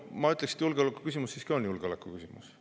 Ma ütleksin, et julgeolekuküsimus siiski on julgeolekuküsimus.